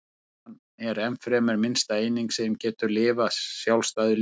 Fruman er ennfremur minnsta eining sem getur lifað sjálfstæðu lífi.